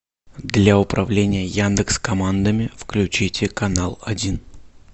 для управления яндекс командами включите канал один